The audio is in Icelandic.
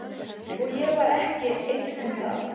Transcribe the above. Og ég var ekki einn um það.